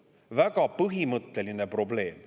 Väga põhimõtteline probleem.